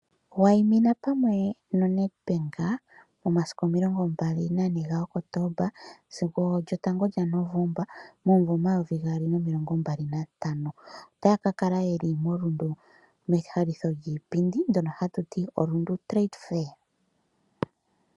Wayimina pamwe noNedbank momasiku omilongo mbali na ne ga Kotoomba sigo lyotango lya Novoomba momumvo omayovi gaali nomilongo mbali nantano. Otaya ka kala yeli moRundu mehalitho lyiipindi ndyono ha tu ti oRundu trade fair .